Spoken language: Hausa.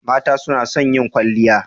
Mata suna son yin kwalliya.